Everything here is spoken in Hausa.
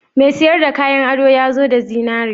Mai siyar da kayan ado ya zo da zinare?